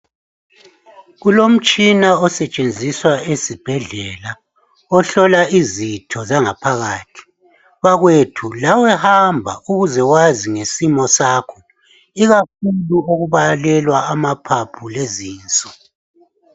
Kulomtshina osetshenziswa esibhedlela ohlola izitho zangaphakathi. Bakwethu lawe hamba ukuze wazi ngesimo sakho, ikakhulu okubalelwa amaphaphu lezinso.